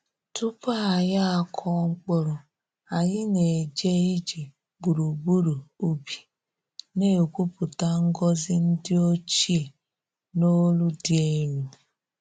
Tupu anyị akụọ mkpụrụ, anyị na-eje ije gburugburu ubi, na-ekwupụta ngọzi ndi ochie n’olu dị elu.